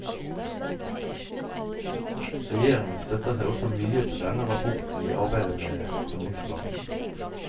Regjeringen støtter seg også mye til denne rapporten i arbeidet med handlingsplanen.